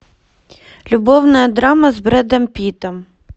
любовная драма с брэдом питтом